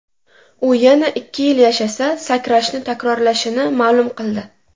U yana ikki yil yashasa, sakrashni takrorlashini ma’lum qildi.